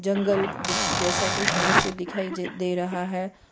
जंगल दी जैसा कुछ दृश्य दिखाई दे रहा है।